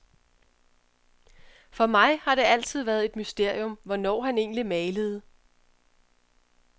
For mig har det altid været et mysterium, hvornår han egentlig malede.